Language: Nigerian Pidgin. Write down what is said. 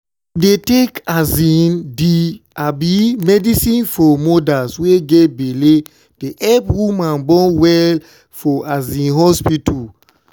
to dey take um di um medicine for modas wey get belle dey epp woman born well for um hospita.